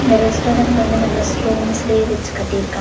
இந்த ரெஸ்டாரண்ட் வந்து நல்லா ஸ்டோன்ஸ்லயே வச்சு கட்டியிருக்காங்க.